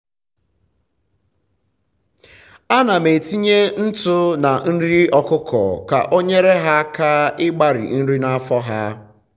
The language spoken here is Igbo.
anam etinye ntụ na nri ọkụkọ ka onyere ha aka ịgbari nri na afọ ha